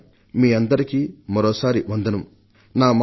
మీ అందరికీ మరొకసారి నమస్కారములు